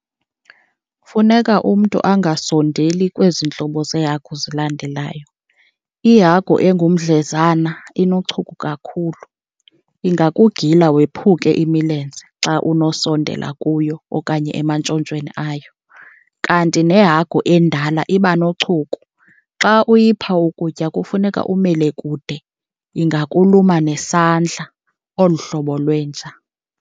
Funeka umntu angasondeli kwezi ntlobo zeehagu zilandelayo. Ihagu engumdlezana inochuku kakhulu, ingakugila wephuke imilenze xa unosondela kuyo okanye emantshontshweni ayo. Kanti nehagu endala iba nochuku, xa uyipha ukutya kufuneka umele kude ingakuluma nesandla olu hlobo lwenja.